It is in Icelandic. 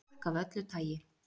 Fólk af öllu tagi.